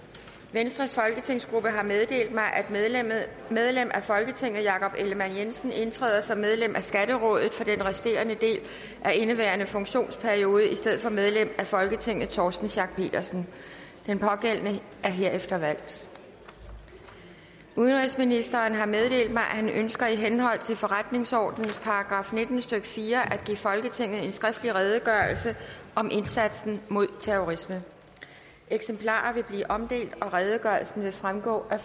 venstres folketingsgruppe har meddelt mig at medlem medlem af folketinget jakob ellemann jensen indtræder som medlem af skatterådet for den resterende del af indeværende funktionsperiode i stedet for medlem af folketinget torsten schack pedersen den pågældende er herefter valgt udenrigsministeren har meddelt mig at han ønsker i henhold til forretningsordenens § nitten stykke fire at give folketinget en skriftlig redegørelse om indsatsen mod terrorisme eksemplarer vil blive omdelt og redegørelsen vil fremgå af